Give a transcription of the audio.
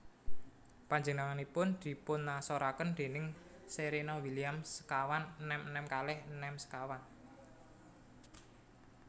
Panjenenganipun dipunasoraken déning Serena Williams sekawan enem enem kalih enem sekawan